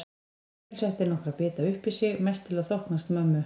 Emil setti nokkra bita uppí sig, mest til að þóknast mömmu.